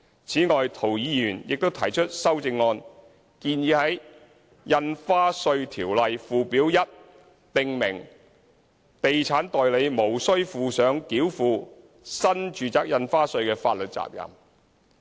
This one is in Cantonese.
此外，涂議員亦提出修正案，建議在《印花稅條例》附表1訂明地產代理無須負上繳付新住宅印花稅的法律責任。